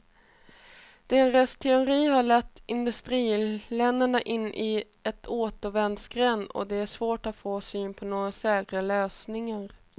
Deras teorier har lett industriländerna in i en återvändsgränd och det är svårt att få syn på några säkra lösningar.